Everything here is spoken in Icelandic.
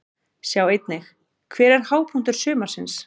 Sjá einnig: Hver er hápunktur sumarsins?